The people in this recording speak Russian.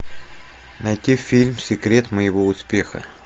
найти фильм секрет моего успеха